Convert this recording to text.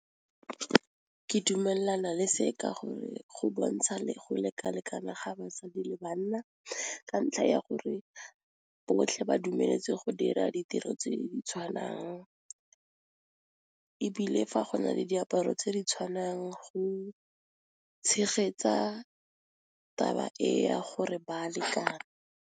Ke dumelana le se ka gore go bontsha le go lekalekana ga basadi le banna, ka ntlha ya gore botlhe ba dumeletse go dira ditiro tse di tshwanang, ebile fa go na le diaparo tse di tshwanang go tshegetsa taba e ya gore ba lekana.